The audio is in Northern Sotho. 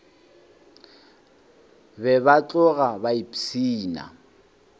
be ba tloga ba ipshina